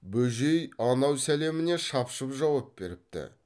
бөжей анау сәлеміне шапшып жауап беріпті